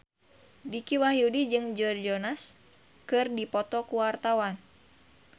Dicky Wahyudi jeung Joe Jonas keur dipoto ku wartawan